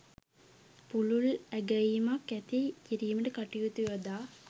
පුළුල් ඇගැයීමක් ඇති කිරීමට කටයුතු යොදා